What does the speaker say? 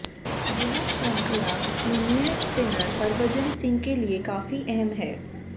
यह श्रृंखला senior spinner Harbhajan Singh के लिये काफी अहम है